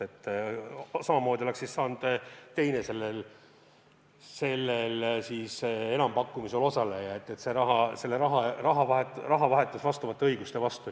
Ja samamoodi oleks saanud teine sellel enampakkumisel osaleja – see on raha vahetus teatud õiguste vastu.